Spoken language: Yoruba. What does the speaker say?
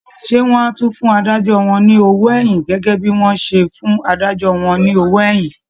Ṣé wọ́n á tún fún adájọ́ ní owó ẹ̀yìn gẹ́gẹ́ bí wọ́n ṣe fún adájọ́ wọn lówó èyìn?